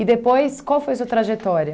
depois, qual foi a sua trajetória?